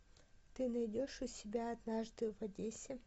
ты найдешь у себя однажды в одессе